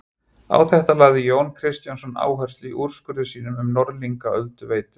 Á þetta lagði Jón Kristjánsson áherslu í úrskurði sínum um Norðlingaölduveitu.